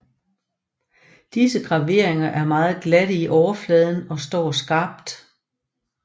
Disse graveringer er meget glatte i overfladen og står skarpt